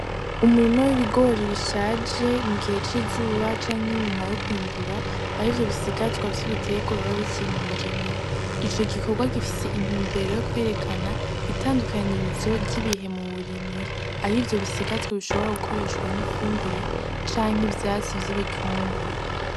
Umurima w'ibigori bishaje mu gihe c'izuba canke inyuma yo kwimbura arivyo bisigazwa vy'ibiterwa biba bikiri mu murima ,ico gikorwa gifise intumbero yo kwerekana itandukanyirizo ry'ibihe mu burimyi aho ivyo bisigazwa bishobora gukoreshwa nk'ifumbire canke ivyatsi vy'ibitungwa .